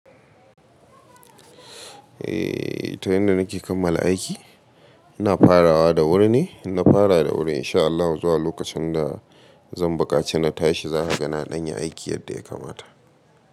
Eh, ta yanda nake kammala aiki ina farawa da wuri ne. Na fara da wuri in sha Allah zuwa lokacin da zan bukaci na tashi za ha gani ɗan ya aiki yadda ya kamata.